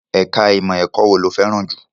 Ẹ̀ka ìmọ̀ ẹ̀kọ́ wo ló fẹ́ràn jù?